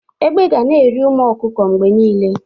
Egbe ga na-eri ụmụ ọkụkọ mgbe niile.